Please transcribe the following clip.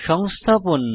সংস্থাপন